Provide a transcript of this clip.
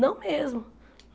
Não mesmo.